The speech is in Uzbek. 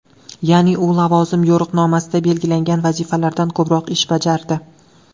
Ya’ni, u lavozim yo‘riqnomasida belgilangan vazifalardan ko‘proq ish bajardi.